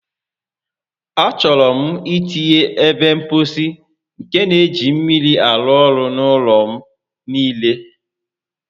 A chọrọ m itinye ebe mposi nke n'eji mmiri arụ ọrụ n'ọnụ ụlọ m niile